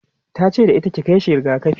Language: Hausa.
tace da ita"ki Kai shi rigakafi!'